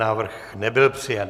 Návrh nebyl přijat.